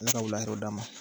Ala ka wula hɛraw d'an ma